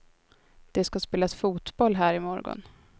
Det ska spelas fotboll här i morgon.